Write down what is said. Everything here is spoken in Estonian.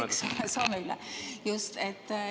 Eks ole, saame üle, just!